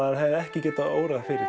hefði ekki getað órað fyrir